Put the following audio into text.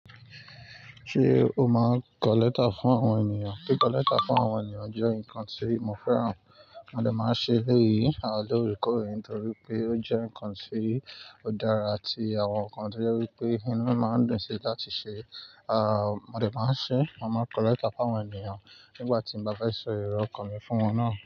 Ṣé o máa kọlẹ́ta fún àwọn ènìyàn? Kí kọlẹ́ta fún àwọn ènìyàn jẹ́ nǹkan tí mo fẹ́ràn. Mo dè máa ṣe eléyìí l’óòrèkóòrè nítorí pé ó jẹ́ nǹkan tí ó dára àti àwọn nǹkan tí ó jẹ́ wípé inú máa ń dùn sí láti ṣe. Mo dè máa ń ṣe, màá kọlẹ́ta fún àwọn ènìyàn nígbà tí mo bá fẹ́ sọ ìró ókan mi fún wọn náà.